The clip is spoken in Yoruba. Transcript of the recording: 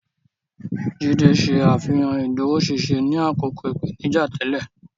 Jide ṣe àfihàn ìdúróṣinṣin ní àkókò ìpèníjà tẹ́lẹ̀.